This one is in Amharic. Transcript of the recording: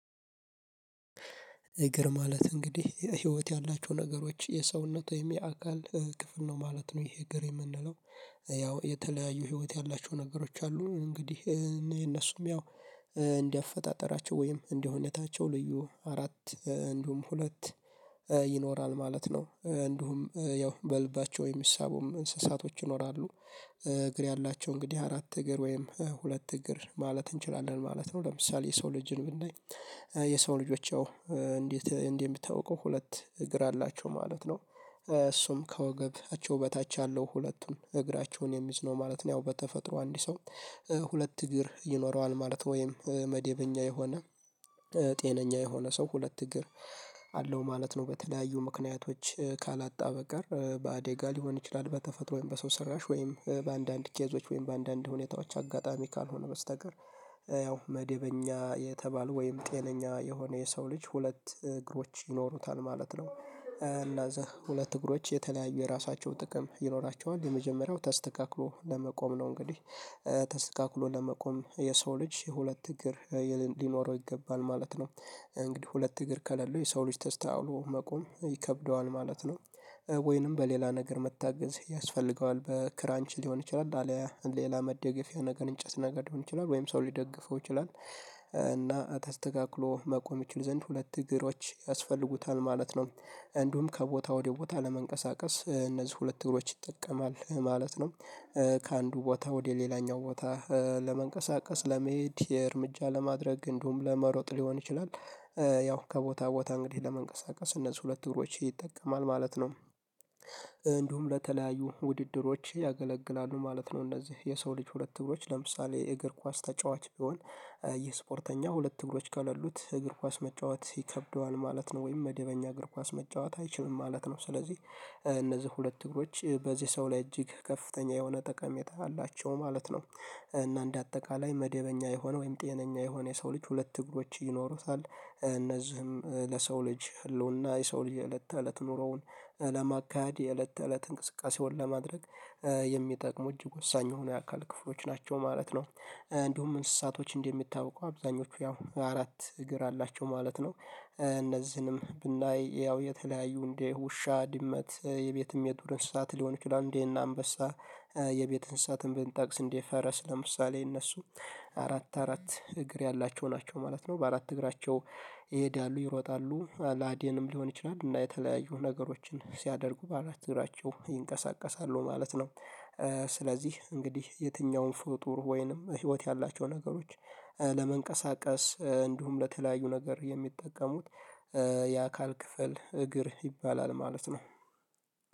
እግር ማለት እንግዲህ ህይወት ያላቸው ነገሮች የሰውነት ወይም የአካል ክፍል ነው ማለት ነው ይሄ እግር የምንለው። ያው የተለያዩ ህይወት ያላቸው ነገሮች አሉ እንግዲህ እኔ እነሱም ያው እንደ አፈጣጠራቸው ወይም እንደ ሁኔታቸው ልዩ አራት እንዲሁም ሁለት ይኖራል ማለት ነው እንዲሁም ያው በልባቸው ወይም የሚሳቡም እንስሳቶች ይኖራሉ። እግር ያላቸው እንግዲህ አራት እግር ወይም ሁለት እግር ማለት እንችላለን ማለት ነው ለምሳሌ የሰው ልጅን ብናይ። የሰው ልጆች እንዴት እንዴት የሚታውቀው ሁለት እግር አላቸው ማለት ነው። እሱም ከወገባቸው በታች ያለው ሁለቱን እግራቸውን የሚዝነው ማለት ነው ያው በተፈጥሮ አንድ ሰው። ሁለት እግር ይኖረዋል ማለት ነው መደበኛ የሆነ ጤነኛ የሆነ ሰው ሁለት እግር። አለው ማለት ነው በተለያዩ ምክንያቶች ካላጣ በቀር በአደጋ ሊሆን ይችላል በተፈጥሮአዊ በሰው ሰራሽ ወይም በአንዳንድ ኬዞች ወይም በአንዳንድ ሁኔታዎች አጋጣሚ ካልሆነ በስተቀር። ያው መደበኛ የተባሉ ወይም ጤነኛ የሆነ የሰው ልጅ ሁለት እግሮች ይኖሩታል ማለት ነው እና እዛ ሁለት እግሮች የተለያዩ የራሳቸው ጥቅም ይኖራቸዋል። የመጀመሪያው ተስተካክሎ ለመቆም ነው እንግዲህ ተስተካክሎ ለመቆም የሰው ልጅ የሁለት እግር ሊኖረው ይገባል ማለት ነው። እንግዲህ ሁለት እግር ከሌለው የሰው ልጅ ተስተካክሎ መቆም ይከብደዋል ማለት ነው። ወይንም በሌላ ነገር መታገዝ ያስፈልገዋል በክራንች ሊሆን ይችላል አለያ ሌላ መደገፊያ ነገር እንጨት ነገር ሊሆን ይችላል ወይም ሰው ሊደግፈው ይችላል እና ተስተካክሎ መቆም ይችል ዘንድ ሁለት እግሮች ያስፈልጉታል ማለት ነው። እንዲሁም ከቦታ ወደ ቦታ ለመንቀሳቀስ እነዚህ ሁለት እግሮች ይጠቀማል ማለት ነው። ከአንዱ ቦታ ወደ ሌላኛው ቦታ ለመንቀሳቀስ ለመሄድ የእርምጃ ለማድረግ እንዲሁም ለመሮጥ ሊሆን ይችላል። ያው ከቦታ ቦታ እንግዲህ ለመንቀሳቀስ እነዚህ ሁለት እግሮች ይጠቅማል ማለት ነው። እንዲሁም ለተለያዩ ውድድሮች ያገለግላሉ ማለት ነው እነዚህ የሰው ልጅ ሁለት እግሮች ለምሳሌ የእግር ኳስ ተጫዋች ቢሆን። የስፖርተኛ ሁለት እግሮች ከሌሉት እግር ኳስ መጫወት ይከብደዋል ማለት ነው ወይም መደበኛ እግር ኳስ መጫወት አይችልም ማለት ነው ስለዚህ እነዚህ ሁለት እግሮች በዚህ ሰው ላይ እጅግ ከፍተኛ የሆነ ጠቀሜታ አላቸው ማለት ነው። እና እንደ አጠቃላይ መደበኛ የሆነ ወይም ጤነኛ የሆነ የሰው ልጅ ሁለት እግሮች ይኖሩታል እነዚህም ለሰው ልጅ ህልውና የሰው ልጅ የእለት ተእለት ኑሮውን ለማካሄድ የእለት ተእለት እንቅስቃሴውን ለማድረግ የሚጠቅሙ እጅግ ወሳኝ የሆኑ የአካል ክፍሎች ናቸው ማለት ነው። እንዲሁም እንስሳቶች እንደሚታወቀው አብዛኞቹ ያው አራት እግር አላቸው ማለት ነው እነዚህንም ብናይ ያው የተለያዩ እንደ ውሻ ድመት የቤትም የዱር እንስሳት ሊሆን ይችላል እንደነ አንበሳ። የቤት እንስሳትን ብንጠቅስ እንደ ፈረስ ለምሳሌ እነሱ። አራት አራት እግር ያላቸው ናቸው ማለት ነው በአራት እግራቸው ይሄዳሉ ይሮጣሉ ለአደንም ሊሆን ይችላል እና የተለያዩ ነገሮችን ሲያደርጉ በአራት እግራቸው ይንቀሳቀሳሉ ማለት ነው። ስለዚህ እንግዲህ የትኛውም ፍጡር ወይንም ህይወት ያላቸው ነገሮች ለመንቀሳቀስ እንዲሁም ለተለያዩ ነገር የሚጠቀሙት የአካል ክፍል እግር ይባላል ማለት ነው።